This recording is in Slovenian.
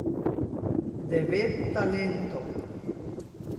Devet talentov.